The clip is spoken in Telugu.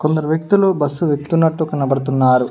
కొందరు వ్యక్తులు బస్సు ఎక్తునట్టు కనబడుతున్నారు.